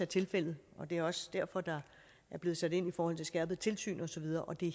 tilfældet og det er også derfor der er blevet sat ind i forhold til skærpet tilsyn og så videre og det